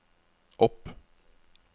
opp